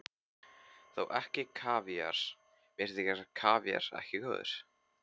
Þó ekki kavíar, mér þykir kavíar ekki góður.